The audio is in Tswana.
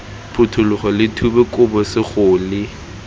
phuthologe lo thube kobo segole